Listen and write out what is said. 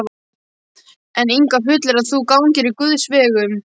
En Ingvar fullyrðir að þú gangir á Guðs vegum.